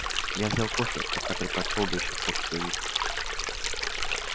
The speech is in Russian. я взял кофе хотя предпочёл бы ещё порцию виски